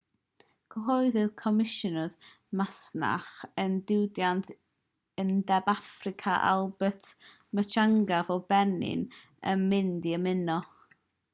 cyhoeddodd comisiynydd masnach a diwydiant undeb affrica albert muchanga fod benin yn mynd i ymuno